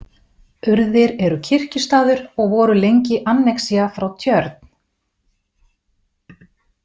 Urðir eru kirkjustaður og voru lengi annexía frá Tjörn.